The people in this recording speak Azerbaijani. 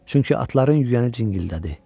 Çünki atların yüyəni cingildədi.